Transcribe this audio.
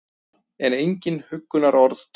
En engin huggunarorð duga.